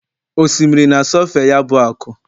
osimiri na-asọfe ya bụ akụ